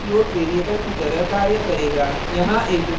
यहाँ एक उदाहरण है जो मैंने पहले ही बना लिया है